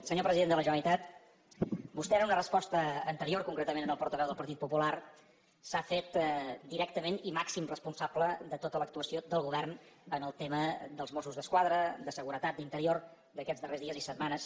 senyor president de la generalitat vostè en una resposta anterior concretament al portaveu del partit popular s’ha fet directament i màxim responsable de tota l’actuació del govern en el tema dels mossos d’esquadra de seguretat d’interior d’aquests darrers dies i setmanes